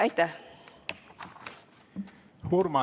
Aitäh!